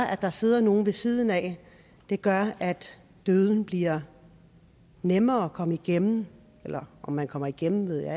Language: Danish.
at der sidder nogen ved siden af gør at døden bliver nemmere at komme igennem eller om man kommer igennem ved jeg